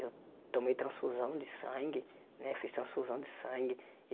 Eu tomei transfusão de sangue né, fiz transfusão de sangue.